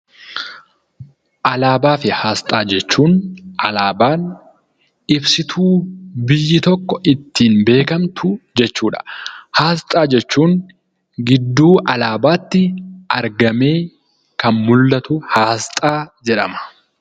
Alaabaa fi aasxaa jechuun alaabaan ibsituu biyyi tokko itttiin beekamtu jechuudha. Aasxaa jechuun gidduu alaabaatti argamee kan mullatu aasxaa jedhama.